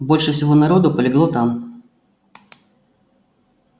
больше всего народу полегло там